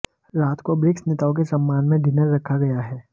रात को ब्रिक्स नेताओं के सम्मान में डिनर रखा गया है